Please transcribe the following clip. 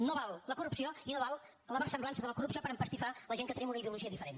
no val la corrupció i no val la versemblança de la corrupció per empastifar la gent que tenim una ideologia diferent